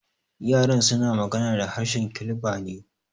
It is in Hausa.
Yaran suna magana da harshen Kilba ne.